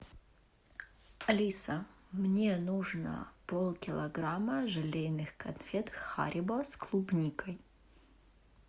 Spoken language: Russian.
алиса мне нужно полкилограмма желейных конфет харибо с клубникой